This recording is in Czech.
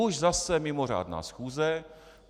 Už zase mimořádná schůze.